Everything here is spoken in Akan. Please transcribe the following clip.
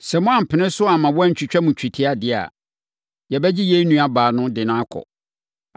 Sɛ moampene so amma wɔantwitwa mo twetia deɛ a, yɛbɛgye yɛn nuabaa de no akɔ.”